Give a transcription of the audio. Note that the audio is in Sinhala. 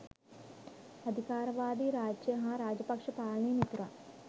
අධිකාරවාදී රාජ්‍ය හා රාජපක්ෂ පාලනයේ මිතුරන්